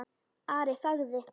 Ari þagði.